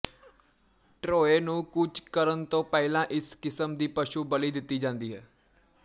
Troy ਨੂੰ ਕੂਚ ਕਰਨ ਤੋਂ ਪਹਿਲਾਂ ਇਸ ਕਿਸਮ ਦੀ ਪਸ਼ੂ ਬਲੀ ਦਿੱਤੀ ਜਾਂਦੀ ਹੈ